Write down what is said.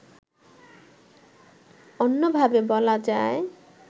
অন্যভাবে বলা যায়